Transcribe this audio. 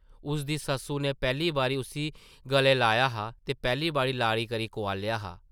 उसदी सस्सु नै पैह्ली बारी उस्सी गलै लाया हा ते पैह्ली बारी ‘लाड़ी ’ करी कुआलेआ हा ।